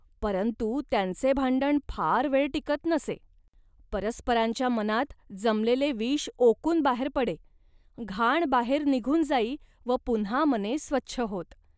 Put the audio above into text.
परंतु त्यांचे भांडण फार वेळ टिकत नसे. परस्परांच्या मनात जमलेले विष ओकून बाहेर पडे, घाण बाहेर निघून जाई व पुन्हा मने स्वच्छ होत